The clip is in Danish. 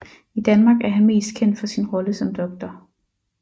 I Danmark er han mest kendt for sin rolle som Dr